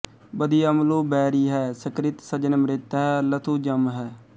ਬਦਿਅਮਲੁ ਬੈਰੀ ਹੈ ਸੁਕ੍ਰਿਤ ਸਜਣ ਮਿਤ੍ਰ ਹੈ ਲ਼ਥੁ ਜਮ ਹੈ